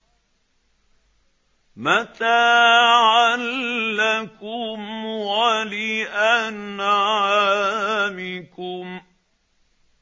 مَّتَاعًا لَّكُمْ وَلِأَنْعَامِكُمْ